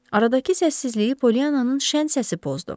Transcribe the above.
Aradakı səssizliyi Polyananın şən səsi pozdu.